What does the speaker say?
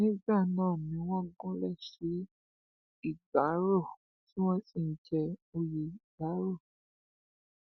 nígbà náà ni wọn gúnlẹ sí ìgbárò tí wọn sì ń jẹ òye ìgbárò